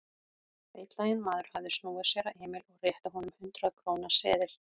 Feitlaginn maður hafði snúið sér að Emil og rétti að honum hundrað-króna seðil.